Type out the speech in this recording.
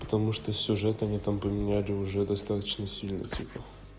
потому что сюжет они там поменяли уже достаточно сильно типа